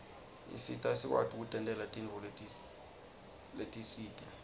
isita sikwati kutentela tintfo letisite